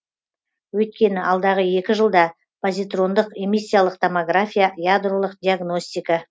өйткені алдағы екі жылда позитрондық эмиссиялық томография ядролық диагностика